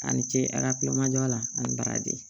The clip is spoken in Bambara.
A ni ce arabu ma jɔ a la ani baraje